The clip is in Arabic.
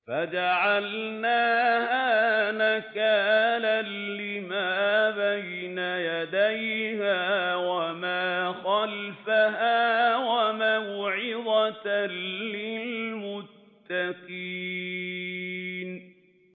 فَجَعَلْنَاهَا نَكَالًا لِّمَا بَيْنَ يَدَيْهَا وَمَا خَلْفَهَا وَمَوْعِظَةً لِّلْمُتَّقِينَ